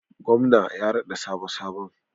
Gwamna ya raɗa sabo sabon.